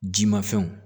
Jimafɛnw